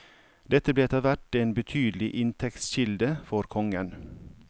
Dette ble etterhvert en betydelig inntektskilde for kongen.